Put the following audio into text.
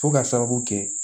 Fo ka sababu kɛ